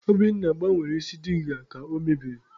Obinna gbanwere isi diga ka o mebiri.